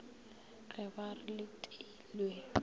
ge ba re le teilwe